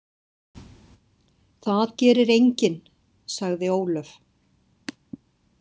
Það gerir enginn, sagði Ólöf.